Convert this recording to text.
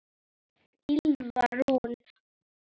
Ylfa Rún.